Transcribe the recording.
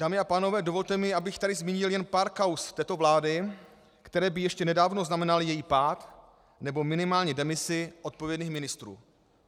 Dámy a pánové, dovolte mi, abych tady zmínil jen pár kauz této vlády, které by ještě nedávno znamenaly její pád, nebo minimálně demisi odpovědných ministrů.